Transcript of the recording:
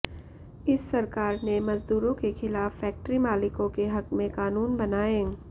इस सरकार ने मजदूरों के खिलाफ फैक्टरी मालिकों के हक में कानून बनाए